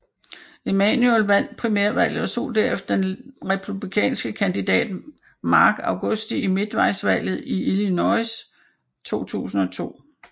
Emanuel vandt primærvalget og slog derefter let den republikanske kandidat Mark Augusti i midtvejdvalget i Illinois 2002